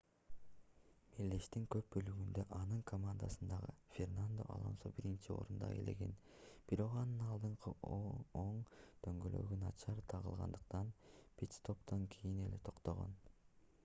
мелдештин көп бөлүгүндө анын командасындагы фернандо алонсо биринчи орунду ээлеген бирок анын алдыңкы оң дөңгөлөгү начар тагылгандыктан пит-стоптон кийин эле токтогон